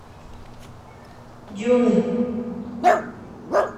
дюны